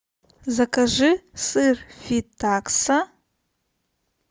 закажи сыр фетакса